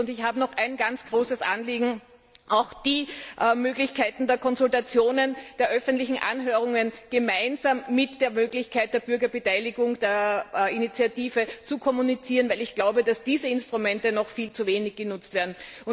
Es ist mir ein ganz großes Anliegen, auch die Möglichkeiten der Konsultationen, der öffentlichen Anhörungen gemeinsam mit der Möglichkeit der Bürgerinitiative zu kommunizieren, weil ich glaube, dass diese Instrumente noch viel zu wenig genutzt werden.